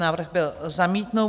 Návrh byl zamítnut.